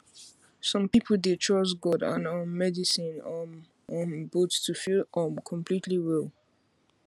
some people dey trust god and um medicine um um both to feel um completely well